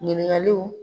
Ɲininkaliw